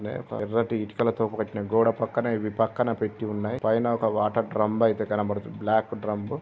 నే ఎర్రటి ఇటుకలతో కట్టిన గోడ పక్కనే ఇవి పక్కనే పెట్టి ఉన్నాయి పైన ఒక వాటర్ డ్రంబ్ అయితే కనబడుతుంది. బ్లాక్ డ్రంబ్